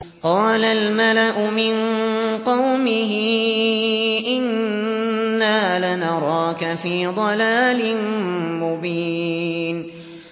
قَالَ الْمَلَأُ مِن قَوْمِهِ إِنَّا لَنَرَاكَ فِي ضَلَالٍ مُّبِينٍ